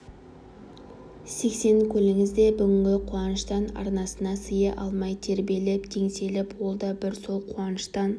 сексен көліңіз де бүгінгі қуаныштан арнасына сыя алмай тербеліп теңселіп ол да бір сол қуаныштан